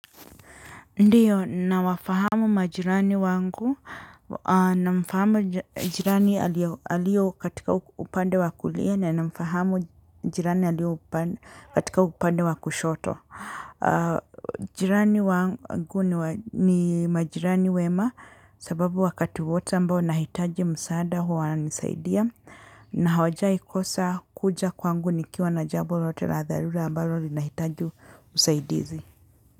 Ndiyo, nawafahamu majirani wangu, namfahamu jirani aliyo katika upande wa kulia, na mfahamu jirani aliyo katika upande wa kushoto. Jirani wangu ni majirani wema, sababu wakati wote ambao nahitaji msaada huwa wanisaidia, na hawajaikosa kuja kwangu nikiwa na jambo lolote la dharura ambalo linahitaji usaidizi.